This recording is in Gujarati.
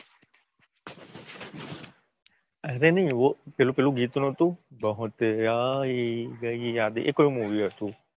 અરે નાઈ વો પેલું પેલું ગીત નતું. બહત આઈ ગઈ યાદેં. એ કયું મુવી હતું?